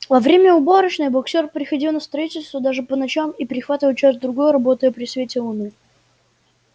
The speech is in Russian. во время уборочной боксёр приходил на строительство даже по ночам и прихватывал час-другой работая при свете луны